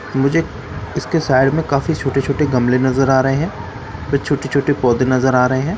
मुझे इसके साइड में काफ़ी छोटे छोटे गमले नजर आ रहे हैं फिर छोटे छोटे पौधे नजर आ रहे हैं ।